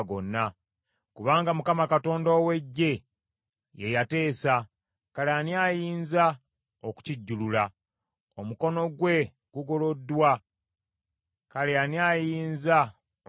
Kubanga Mukama Katonda ow’Eggye ye yateesa, kale ani ayinza okukijjulula? Omukono gwe gugoloddwa, kale ani ayinza okuguzzaayo?